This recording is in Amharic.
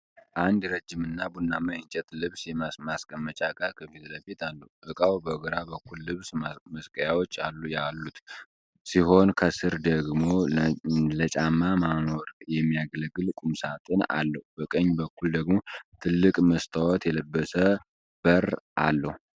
አንድ ረዥምና ቡናማ የእንጨት ልብስ ማስቀመጫ እቃ ከፊት ለፊት አለው፡፡ እቃው በግራ በኩል ልብስ መስቀያዎች ያሉት ሲሆን፣ ከሥር ደግሞ ለጫማ ማኖር የሚያገለግል ቁምሳጥን አለው፡፡ በቀኝ በኩል ደግሞ ትልቅ መስታወት የለበሰ በር አለው፡፡